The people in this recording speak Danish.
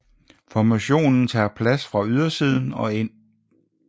Formationen tager plads fra ydersiden og ind